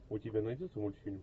у тебя найдется мультфильм